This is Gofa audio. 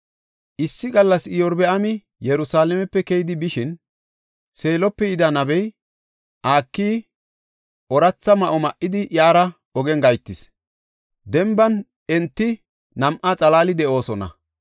Issi gallas Iyorbaami Yerusalaamepe keyidi bishin, Seelope yida nabey Akiyi ooratha ma7o ma7idi iyara ogen gahetis. Denban enta nam7aa xalaali de7oosona.